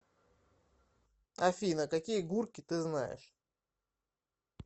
афина какие гурки ты знаешь